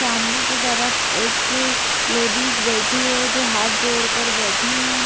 सामने की तरफ एक लेडीज बैठी है जो हाथ जोड़ कर बैठी हैं ।